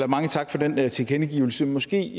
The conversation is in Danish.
mange tak for den tilkendegivelse måske